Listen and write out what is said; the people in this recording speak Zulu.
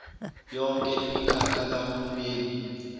yonke imikhakha kahulumeni